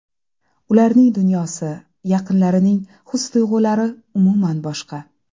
Ularning dunyosi, yaqinlarining his-tuyg‘ulari umuman boshqa.